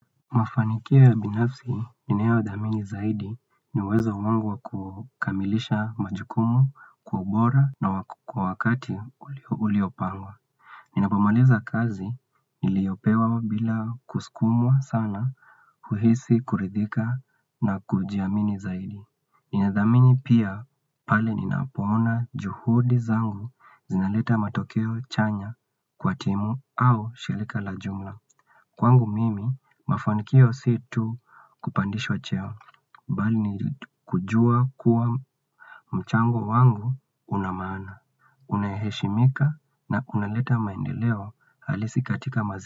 Mafanikio ya binafsi ninayodhamini zaidi ni uwezo wangu wa kukamilisha majukumu kwa ubora na kwa wakati uliopangwa. Ninapomaliza kazi niliyopewa bila kusukumwa sana huhisi kuridhika na kujiamini zaidi. Ninadhamini pia pale ninapoona juhudi zangu zinaleta matokeo chanya kwa timu au shirika la jumla. Kwangu mimi mafanikio si tu kupandishwa cheo bali ni kujua kuwa mchango wangu una maana Unaheshimika na kunaleta maendeleo halisi katika.